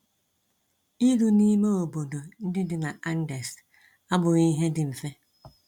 Iru n’ime obodo ndị dị na Andes abụghị ihe dị mfe.